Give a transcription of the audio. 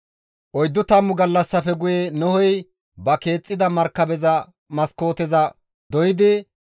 Oyddu tammu gallassafe guye Nohey ba keexxida markabeza maskooteza doydi,